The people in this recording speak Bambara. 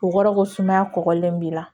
O kɔrɔ ko sumaya kɔgɔlen b'i la